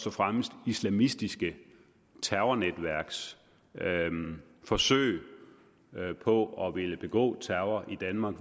og fremmest islamistiske terrornetværks forsøg på at ville begå terror i danmark